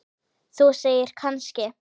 Þú segir, kannski?